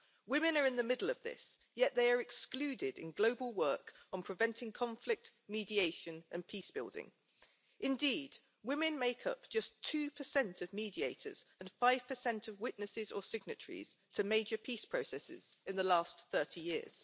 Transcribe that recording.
Women are in the middle of this, yet they are excluded in global work on preventing conflict, mediation and peace building. Indeed, women have made up just 2 of mediators and 5 of witnesses or signatories to major peace processes in the last 30 years.